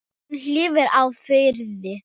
Hún hvíli í friði.